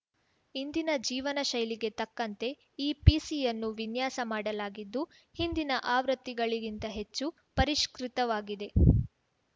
ಇಂದಿನ ಜೀವನಶೈಲಿಗೆ ತಕ್ಕಂತೆ ಈ ಪಿಸಿ ಯನ್ನು ವಿನ್ಯಾಸ ಮಾಡಲಾಗಿದ್ದು ಹಿಂದಿನ ಆವೃತ್ತಿಗಳಿಗಿಂತ ಹೆಚ್ಚು ಪರಿಷ್ಕೃತವಾಗಿದೆ